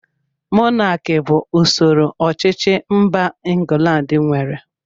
Mọnaki bụ usoro ọchịchị mba England nwere